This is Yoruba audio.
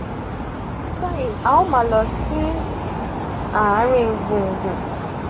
bayi a o ma lọ sin aarin gbungbun